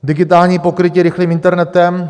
Digitální pokrytí rychlým internetem.